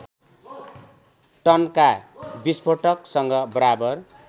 टनका विस्फोटसँग बराबर